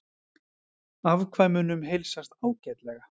Afkvæmunum heilsast ágætlega